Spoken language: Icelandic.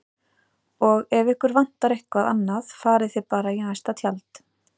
Og ef ykkur vantar eitthvað annað farið þið bara í næsta tjald